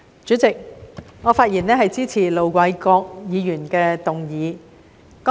主席，我發言支持盧偉國議員的議案。